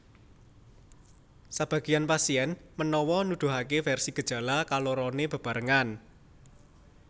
Sebageyan pasien menawa nuduhake versi gejala kalorone bebarengan